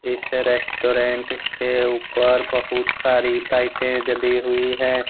इस रेस्टोरेंट के ऊपर बहुत सारी लाइटे जली हुई है।